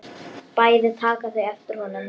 Bæði taka þau eftir honum.